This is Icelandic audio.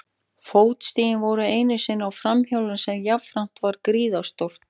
Fótstigin voru eitt sinn á framhjólinu sem jafnframt var gríðarstórt.